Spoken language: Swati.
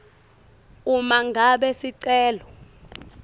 uma ngabe sicelo